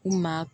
U maa